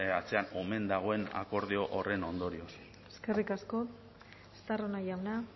atzean omen dagoen akordio horren ondorioz eskerrik asko estarrona jauna